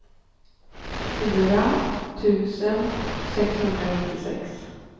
fyra tusen sexhundranittiosex